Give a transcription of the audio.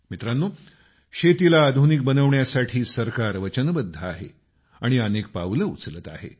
मित्रांनो शेतीला आधुनिक बनवण्यासाठी सरकार वचनबद्ध आहे आणि अनेक पावलं उचलत आहे